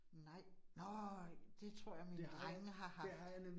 Nej, nej. Det tror jeg mine drengene har haft